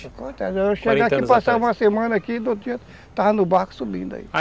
Eu chegava aqui, passava uma semana aqui, do outro dia estava no barco subindo aí.